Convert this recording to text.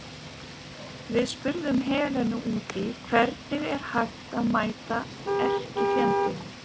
Við spurðum Helenu út í hvernig er að mæta erkifjendunum?